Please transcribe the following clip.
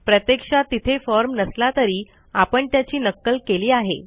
प्रत्यक्षात तिथे फॉर्म नसला तरी आपण त्याची नक्कल केली आहे